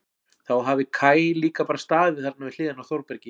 Þá hafi Kaj líka bara staðið þarna við hliðina á Þórbergi.